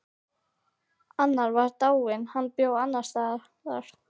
Annar var dáinn, hinn bjó annars staðar.